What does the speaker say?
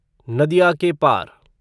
नदिया के पार